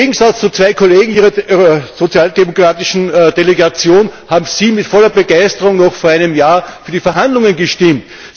Im Gegensatz zu zwei Kollegen Ihrer sozialdemokratischen Delegation haben Sie mit voller Begeisterung noch vor einem Jahr für die Verhandlungen gestimmt.